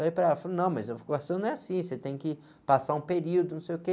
Eu falei para ela, falei não, mas a vocação não é assim, você tem que passar um período, não sei o quê.